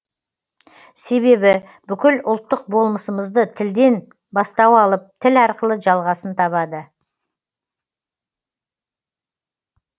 себебі бүкіл ұлттық болмысымызды тілден бастау алып тіл арқылы жалғасын табады